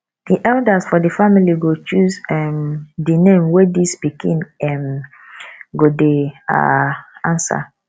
di eldas for di family go choose um di name wey dis pikin um go dey um answer